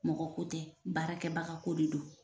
Mɔgɔ ko tɛ baarakɛbaga ko de don.